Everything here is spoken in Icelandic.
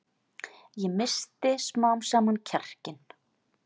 Ég missti smám saman kjarkinn.